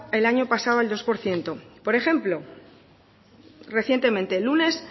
el año pasado al dos por ciento por ejemplo recientemente lunes